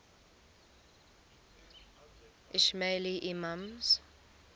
ismaili imams